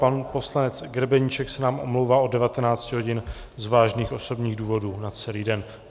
Pan poslanec Grebeníček se nám omlouvá od 19 hodin z vážných osobních důvodů na celý den.